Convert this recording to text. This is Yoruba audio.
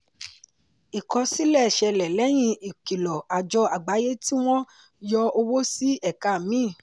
ìkosílẹ̀ ṣẹlẹ̀ lẹ́yìn ìkìlọ̀ àjọ àgbáyé tí wọ́n yọ owó sí ẹ̀ka míì.